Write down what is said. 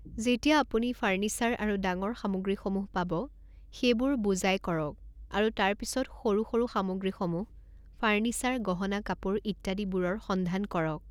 যেতিয়া আপুনি ফাৰ্ণিচাৰ আৰু ডাঙৰ সামগ্ৰীসমূহ পাব সেইবোৰ বোজাই কৰক আৰু তাৰ পিছত সৰু সৰু সামগ্ৰীসমূহ ফাৰ্ণিচাৰ গহনা কাপোৰ ইত্যাদি বোৰৰ সন্ধান কৰক।